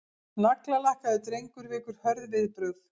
Naglalakkaður drengur vekur hörð viðbrögð